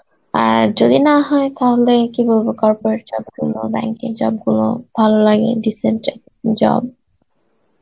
আর যদি না হয় তাহলে কী বলবো corporate job গুলো, bank এর job গুলো ভালো লাগে decent জ~ job